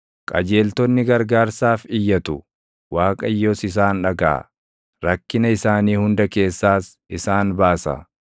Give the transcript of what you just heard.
Qajeeltonni gargaarsaaf iyyatu; Waaqayyos isaan dhagaʼa. Rakkina isaanii hunda keessaas isaan baasa.